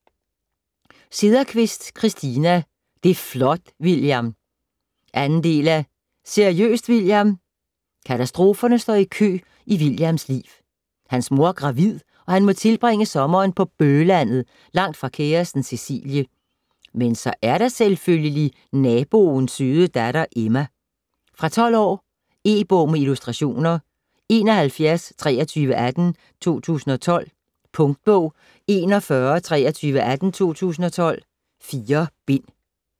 Sederqvist, Christina: Det' flot, William! 2. del af Seriøst, William?. Katastroferne står i kø i Williams liv. Hans mor er gravid, og han må tilbringe sommeren på bøh-landet langt fra kæresten Cecilie. Men så er der selvfølgelig naboens søde datter Emma. Fra 12 år. E-bog med illustrationer 712318 2012. Punktbog 412318 2012. 4 bind.